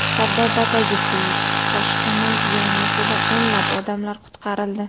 Sardobadagi suv toshqini zonasida o‘nlab odamlar qutqarildi.